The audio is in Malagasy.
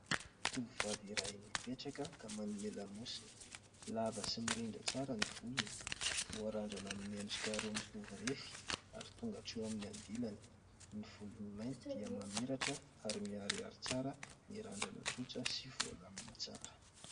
Tovovavy iray mipetraka ka manome lamosina, lava sy mirindra tsara ny volony, voarandrana amin'ny endrika roa mitovy refy ary tonga hatreo amin'ny andilany. Ny volony mainty dia mamiratra ary miharihary tsara ny randrana tsotra sy voalamina tsara.